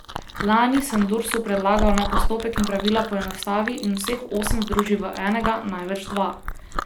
Lani sem Dursu predlagal, naj postopek in pravila poenostavi in vseh osem združi v enega, največ dva.